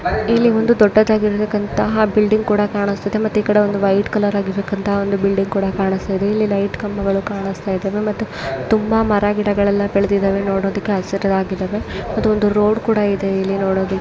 ಇಲ್ಲಿಒಂದು ದೊಡ್ಡದಾಗಿರತಕಂತಹ ಬಿಲ್ಡಿಂಗ್ ಕೂಡ ಕಾಣುಸ್ತಿದೆ ಮತ್ತೆ ಇಕಡೆ ಒಂದು ವೈಟ್ ಕಲರ್ ಆಗಿರಕಂತಹ ಒಂದು ಬಿಲ್ಡಿಂಗ್ ಕೂಡ ಕಾಣುಸ್ತಾಯಿದೆ ಇಲ್ಲಿ ಲೈಟ್ ಕಂಬಗಳು ಕಾಣುಸ್ತಾಇದ್ದಾವೆ ಮತ್ತು ತುಂಬಾ ಮರ ಗಿಡಗಳೆಲ್ಲ ಬೆಳ್ದಿದಾವೆ. ನೋಡೋದಿಕ್ಕೆ ಹಸಿರಾಗಿದಾವೆ ಮತ್ತೆ ಒಂದು ರೋಡ್ ಕೂಡ ಇದೆ ನೋಡೋದಿಕ್ಕೆ--